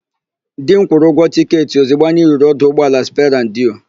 Di m kwụrụ ụgwọ tịketị ozigbo anyị ruru ọdụ ụgbọala Sperandio.